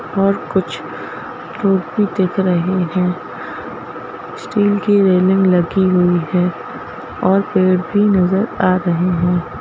और कुछ लोग भी दिख रहे हैं स्टील की रेलिंग लगी हुई है और पैर भी नजर आ रही हैं।